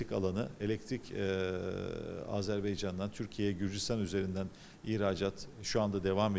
Elektrik eee Azərbaycandan Türkiyəyə, Gürcüstan üzərindən ixracat hal-hazırda davam edir.